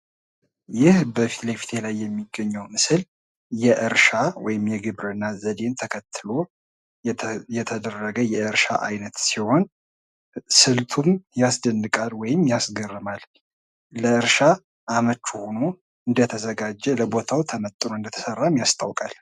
ይህ በፊትለፊቴ ላይ የሚገኘው ምስል የእርሻ ወይም የግብርና ዘዴን ተከትሎ የተሰራ ሲሆን ፤ ስልቱም በጣም ያስደንቃል ወይም ያስደምማል ፤ ለእርሻ አመች እንዲሆን ተመጥኖ እንደተሰራም ያስታውቃል።